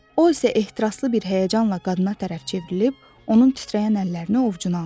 O isə ehtiraslı bir həyəcanla qadına tərəf çevrilib, onun titrəyən əllərini ovcuna aldı.